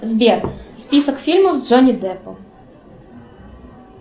сбер список фильмов с джонни деппом